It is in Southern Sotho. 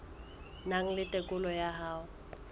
nang le tokelo ya ho